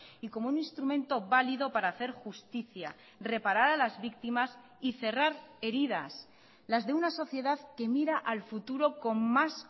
y como un instrumento válido para hacer justicia reparar a las víctimas y cerrar heridas las de una sociedad que mira al futuro con más